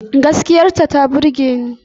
Gaskiya ta ta burge ta.